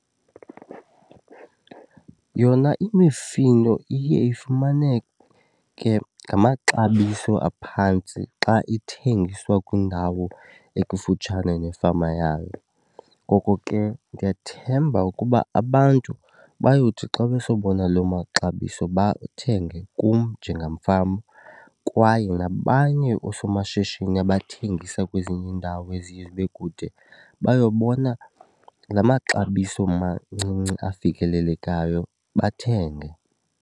Yona imifino iye ifumaneke ke ngamaxabiso aphantsi xa ithengiswa kwindawo ekufutshane nefama yayo. Ngoko ke ndiyathemba ukuba abantu bayothi xa besobona loo maxabiso bathenge kum njengamfama kwaye nabanye oosomashishini abathengisa kwezinye iindawo eziye zibe kude bayobona la maxabiso mancinci afikelelekayo bathenge.